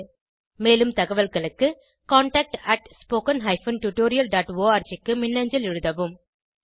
மேலும் தகவல்களுக்கு contactspoken tutorialorg க்கு மின்னஞ்சல் எழுதவும்